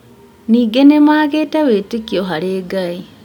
Ningĩ nĩ maagĩte wĩtĩkio harĩ Ngai